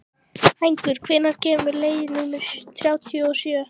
Hængur, hvenær kemur leið númer þrjátíu og sjö?